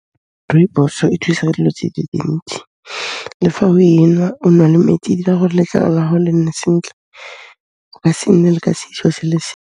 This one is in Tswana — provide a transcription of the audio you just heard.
Rooibos-o e thusa ka dilo tse di ntsi, le fa o e nwa, o nwa le metsi, e dira gore letlalo la gago le nne sentle, o ka se nne le ka seso se le se.